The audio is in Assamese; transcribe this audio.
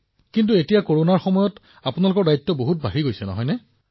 কিন্তু এতিয়া কৰোনাৰ সময়ত আপোনাৰ দায়িত্ব যথেষ্ট বৃদ্ধি পাইছে নেকি